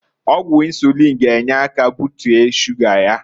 Ọgwụ insuliin g'enye aka butie shuga ya.